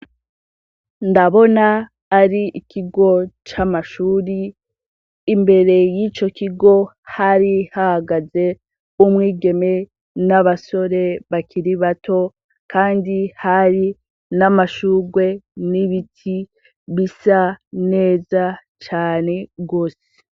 Ndabona ari ikigo c'amashure, imbere y'ico kigo hari hahagaze umwigeme n'abasore bakiri bato kandi hari n'amashugwe n'ibiti bisa neza cane gose.